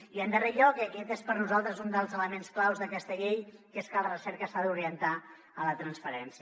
i en darrer lloc i aquest és per nosaltres un dels elements claus d’aquesta llei que és que la recerca s’ha d’orientar a la transferència